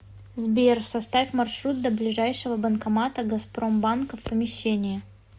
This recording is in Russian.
сбер составь маршрут до ближайшего банкомата газпромбанка в помещении